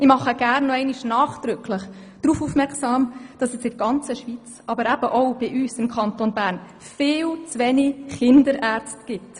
Ich mache gerne noch einmal nachdrücklich darauf aufmerksam, dass in der ganzen Schweiz, aber eben auch bei uns im Kanton Bern, sehr viele Kinderärzte fehlen.